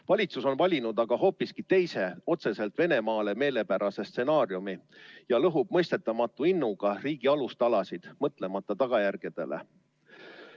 Valitsus on valinud aga hoopiski teise, otseselt Venemaale meelepärase stsenaariumi ja lõhub mõistetamatu innuga riigi alustalasid, mõtlemata tagajärgedele.